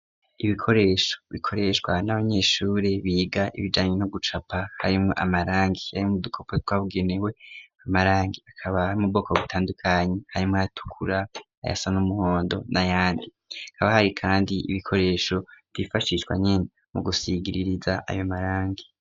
Ibikoresho bikoreshwa n'abanyeshure biga ibijanye no gucapa harimwo amarangi yari mu dukopo twabugenewe amarangi akabari mu boko bitandukanyi harimwo ayatukura ayasa n'umuhondo na yandi kaba hari, kandi ibikoresho vyifashishwa nyene mu gusigiririza ayo marangi.